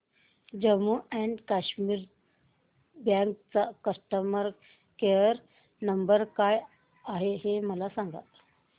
Jammu and Kashmir bank चा customer care number काय आहे हे मला सांगा